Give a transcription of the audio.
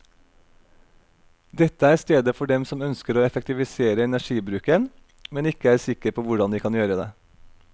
Dette er stedet for dem som ønsker å effektivisere energibruken, men ikke er sikker på hvordan de kan gjøre det.